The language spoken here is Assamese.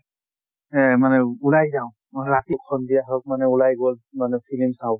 এহ মানে ওলাই যাওঁ অহ ৰাতি সন্ধিয়া হওঁক মানে ওলাই গল মানে ফিলিম চাওঁ বুলে।